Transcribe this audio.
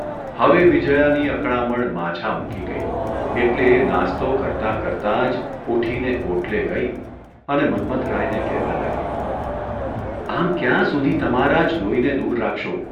હવે વિજયાની અકળામણ માઝા મૂકી ગઇ એટલે એ નાસ્તો કરતાં કરતાં જ ઊઠીને ઓટલે ગઇ અને મન્મથરાયને કહેવા લાગીઃ ' આમ ક્યાં સુધી તમારા જ લોહીને દૂર રાખશો?